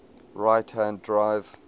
right hand drive